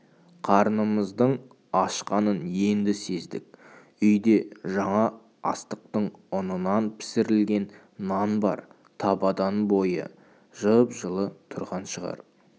қарнымыздың ашқанын енді сездік үйде жаңа астықтың ұнынан пісірілген нан бар табадан бойы жып-жылы тұрған шығар